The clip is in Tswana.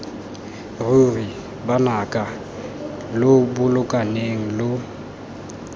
ruri banaka lo bolokaneng lo